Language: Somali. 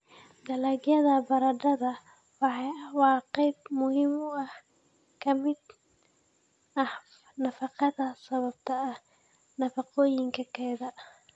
Dalagyada baradhada waa qayb muhiim ah oo ka mid ah nafaqada sababtoo ah nafaqooyinkeeda.